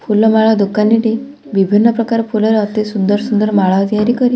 ଫୁଲମାଳ ଦୋକାନୀଟି ବିଭିନ୍ନ ପ୍ରକାର ଫୁଲର ଅତି ସୁନ୍ଦର ସୁନ୍ଦର ମାଳ ତିଆରି କରି।